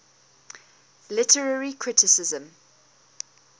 literary criticism